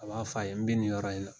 A b'a fɔ a ye n bɛ nin yɔrɔ in na